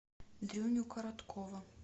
дрюню короткова